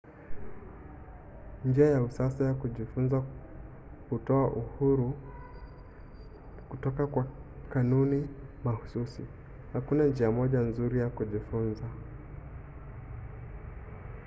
njia ya usasa ya kujifunza hutoa uhuru kutoka kwa kanuni mahsusi. hakuna njia moja nzuri ya kujifunza